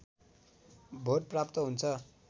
vote प्राप्त हुन्छ